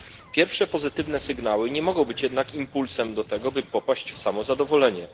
Pierwsze pozytywne sygnały nie mogą być jednak impulsem do tego, by popaść w samozadowolenie.